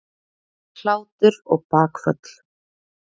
Hlátur og bakföll.